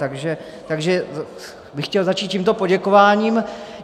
Takže bych chtěl začít tímto poděkováním.